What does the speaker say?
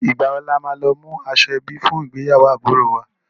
Ìgbà wo ni a máa lọ mú aṣọ ẹbí fún ìgbéyàwó àbúròo wa?